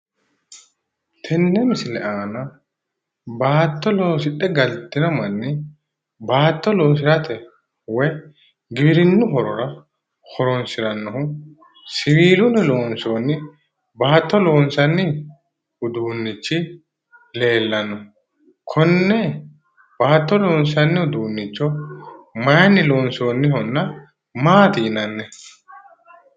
Tenne misile aana bbaatto loosidhe galtino manni baatto loosirate woy giwirinnu horora horoonsirannohu siwiillunni loonsoonnihu baatto loonsanni uduunnichi leellanno. Konne baatto loonsanni uduunnicho maayiinni loonsoonnihonna maati yinanni?